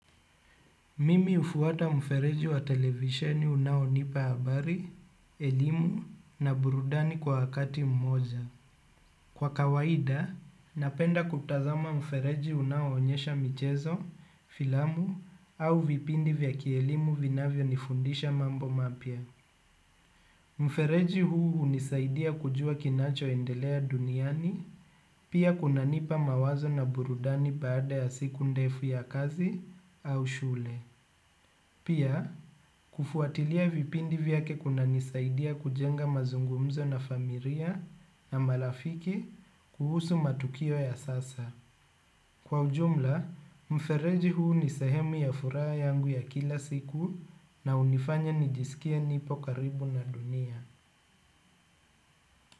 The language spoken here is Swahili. Mimi hufuata mfereji wa televisheni unaonipa habari, elimu na burudani kwa wakati mmoja. Kwa kawaida, napenda kutazama mfereji unaoonyesha michezo, filamu au vipindi vya kielimu vinavyonifundisha mambo mapya. Mfereji huu hunisaidia kujua kinachoendelea duniani pia kunanipa mawazo na burudani baada ya siku ndefu ya kazi au shule. Pia, kufuatilia vipindi vyake kunanisaidia kujenga mazungumzo na familia na marafiki kuhusu matukio ya sasa. Kwa ujumla, mfereji huu ni sehemu ya furaha yangu ya kila siku na hunifanya nijisikie nipo karibu na dunia.